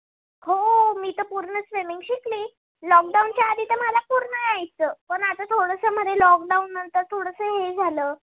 Lock down च्या आधी पूर्ण यायचं, पण आता थोडस मध्ये lock down नंतर थोडस हे झाल.